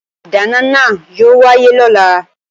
Ìdáná náà yóò wáyé lọ́la